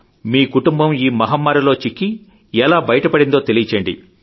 మీకుటుంబం ఈమహమ్మారిలో చిక్కిఎలా బయటపడిందో తెలియజేయండి